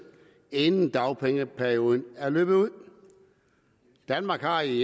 inden dagpengeperioden er løbet ud danmark har i